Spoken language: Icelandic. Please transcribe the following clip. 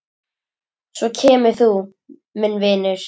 Svo kemur þú, minn vinur.